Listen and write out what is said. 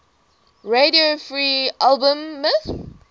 radio free albemuth